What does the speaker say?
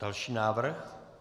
Další návrh?